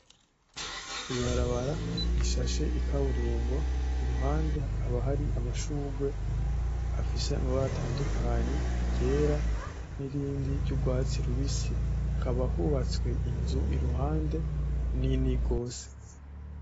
Ibarabara rishashe ikaburimbo, iruhande hakaba hari amashugwe afise amabara atandukanye iryera nirindi ry'ugwatsi rubisi hakaba hubatswe inzu kuru hande nini gose.